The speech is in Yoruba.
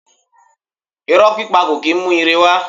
Irọ̀ pípa kò kì í mú ire wá.